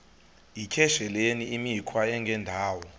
yityesheleni imikhwa engendawo